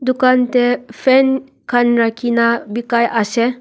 dukan te fan khan rakhi na bikai ase.